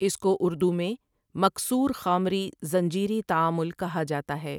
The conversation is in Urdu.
اس کو اردو میں مکـثـورخامری زنجیری تعامل کہا جاتا ہے ۔